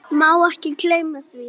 Má ekki gleyma því.